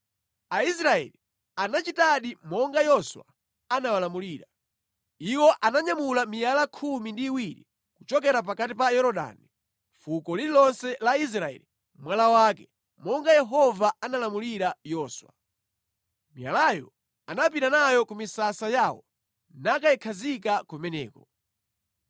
Aisraeli anachitadi monga Yoswa anawalamulira. Iwo ananyamula miyala khumi ndi iwiri kuchokera pakati pa Yorodani, fuko lililonse la Israeli mwala wake, monga Yehova analamulira Yoswa. Miyalayo anapita nayo ku misasa yawo nakayikhazika kumeneko.